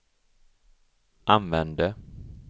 använde